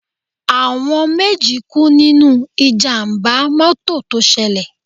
Àwọn méjì kú nínú Ìjàm̀bá mọ́tọ̀ tó ṣẹlẹ̀.